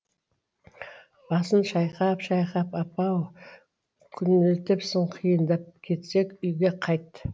басын шайқап шайқап апа ау күнелтіпсің қиындап кетсек үйге қайт